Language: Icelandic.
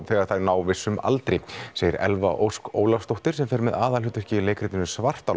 þegar þær ná vissum aldri segir Elva Ósk Ólafsdóttir sem fer með aðalhlutverkið í leikritinu